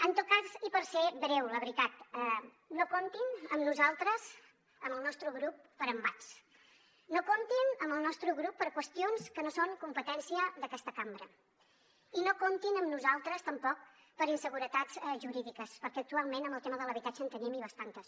en tot cas i per ser breu la veritat no comptin amb nosaltres amb el nostre grup per a embats no comptin amb el nostre grup per a qüestions que no són competència d’aquesta cambra i no comptin amb nosaltres tampoc per a inseguretats jurídiques perquè actualment en el tema de l’habitatge en tenim i bastantes